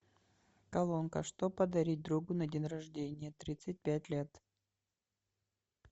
колонка что подарить другу на день рождения тридцать пять лет